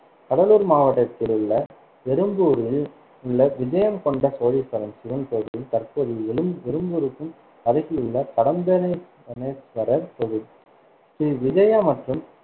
கடலூர் மாவட்டத்தில் உள்ள எறும்பூரில் உள்ள விஜயம்கொண்ட சோழேஸ்வரம் சிவன் கோவில் தற்போதைய எ~ எரும்பூருக்கும் அருகில் உள்ள கடம்பவனே~ வனேஸ்வரர் கோவில் ஸ்ரீ விஜயா மற்றும்